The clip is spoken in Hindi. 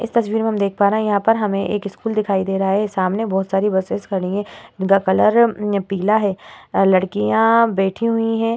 इस तस्वीर मे हम देख पा रहे हैं। यहाँ पर हमे एक स्कूल दिखाई दे रहा है। सामने बहुत सारे बसेस खड़ी हैं। उनका कलर उम पीला है। लड़किया बैठी हुई हैं।